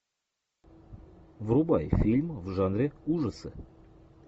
врубай фильм в жанре ужасы